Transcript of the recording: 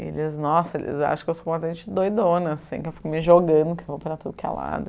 E eles, nossa, eles acham que eu sou uma gente doidona, assim, que eu fico me jogando, que eu vou para tudo que é lado